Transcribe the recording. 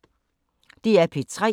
DR P3